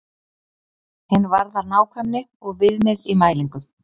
Hin varðar nákvæmni og viðmið í mælingum.